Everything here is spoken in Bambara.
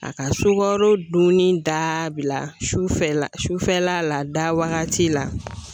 A ka sukaro dumuni dabila sufɛla sufɛla la, da wagati la .